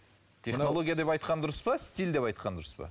технология деп айтқан дұрыс па стиль деп айтқан дұрыс па